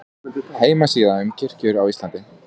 Heimasíða um kirkjur á Íslandi